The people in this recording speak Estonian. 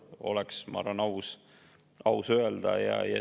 Nii oleks, ma arvan, aus öelda.